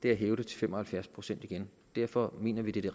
er at hæve det til fem og halvfjerds procent igen derfor mener vi det